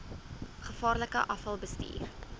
gevaarlike afval bestuur